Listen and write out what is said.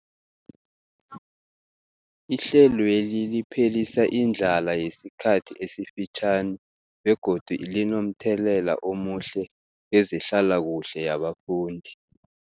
Ihlelweli liphelisa indlala yesikhathi esifitjhani begodu linomthelela omuhle kezehlalakuhle yabafundi.